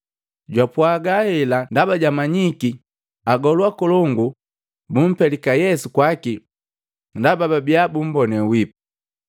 Jwapwaaga hela ndaba jwamanyiki agolu akolongu bumpelika Yesu kwaki ndaba babia bumbone wipu.